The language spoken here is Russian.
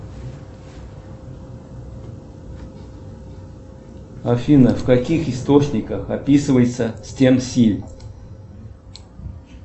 афина в каких источниках описывается стен силь